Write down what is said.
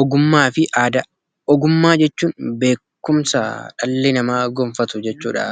Ogummaa fi Aadaa: Ogummaa jechuun beekumsa dhalli namaa gonfatu jechuudha.